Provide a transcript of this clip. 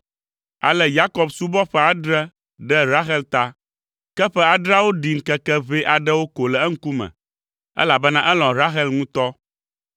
Ale Yakob subɔ ƒe adre ɖe Rahel ta. Ke ƒe adreawo ɖi ŋkeke ʋɛ aɖewo ko le eŋkume, elabena elɔ̃ Rahel ŋutɔ.